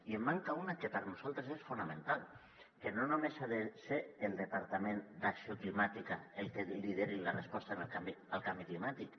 i en manca una que per nosaltres és fonamental que no només ha de ser el departament d’acció climàtica el que lideri la resposta al canvi climàtic